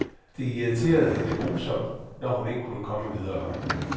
Det irriterede hende grusomt, når hun ikke kunne komme videre.